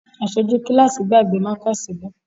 Aṣojú kíláàsì gbàgbé mákà sílé